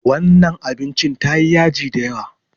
Wannan abincin tayi yaji da yawa.